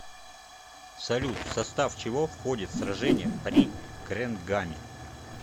салют в состав чего входит сражение при гренгаме